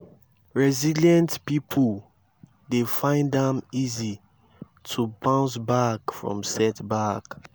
resilient pipo dey find am easy to bounce back from setback